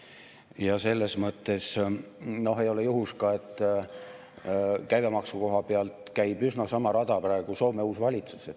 Ja selles mõttes ei ole juhus, et käibemaksu koha pealt käib üsna sama rada praegu Soome uus valitsus.